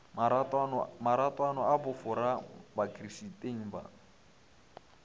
maratwana a bofora bakristeng ba